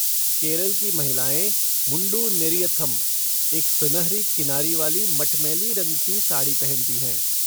केरल की महिलाएँ मुंडू नेरियथम, एक सुनहरी किनारी वाली मटमैली रंग की साड़ी पहनती हैं।